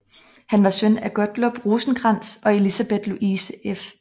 Han var søn af Gottlob Rosenkrantz og Elisabeth Louise f